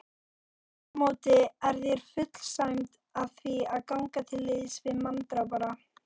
Afturámóti er þér full sæmd að því að ganga til liðs við manndrápara.